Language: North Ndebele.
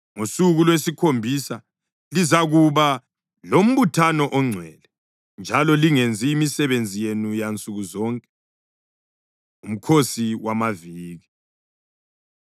Ngosuku lwesikhombisa lizakuba lombuthano ongcwele njalo lingenzi imisebenzi yenu yansuku zonke.’ ” UMkhosi WamaViki